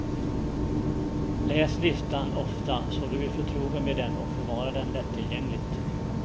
Läs listan ofta så du blir förtrogen med den och förvara den lätttillgängligt.